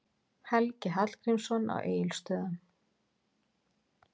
Helgi Hallgrímsson á Egilsstöðum